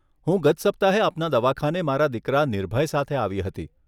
હું ગત સપ્તાહે આપના દવાખાને મારા દીકરા નિર્ભય સાથે આવી હતી.